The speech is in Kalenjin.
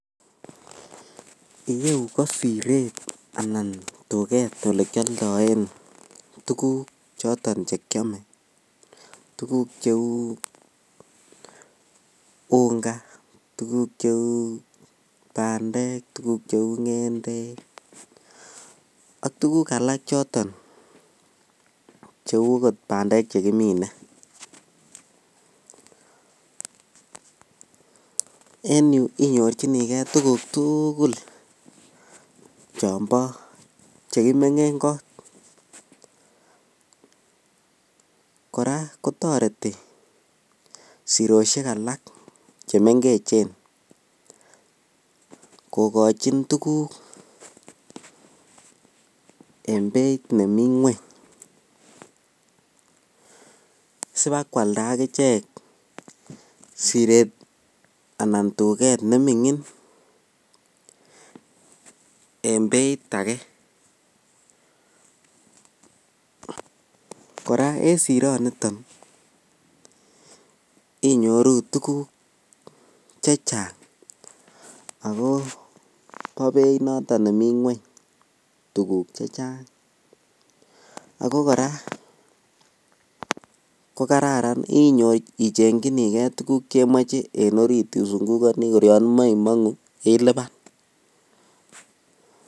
Iyeuu ko sireet anan tuket olekioldoen tukuk chotonchekiome, tukuk cheu unga, tukuk cheu bandek, tukuk cheu ng'endek ak tukuk alak choton cheuu okot bandek chekimine, en yuu inyorchinike tukuk tukul chombo chekimeng'en koot, kora kotoreti siroshek chemeng'echen kokochin tukuk en beit nemii ng'weny sibakwalda akichek sireet anan duket neming'in en beit akee, kora en sironiton inyoru tukuk chechang ak ko bo beit noton nemii ng'weny tukuk chechang ak ko kora ko kararan ichengyinike tukuk chemoche isung'ukoni kor Yoon imoe imongu iliban.